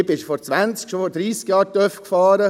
Ich bin schon vor zwanzig, dreissig Jahren Töff gefahren.